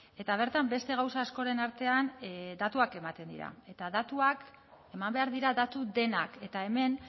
eta bertan beste gauza askoren artean datuak ematen dira eta datuak eman behar dira datu denak eta hemen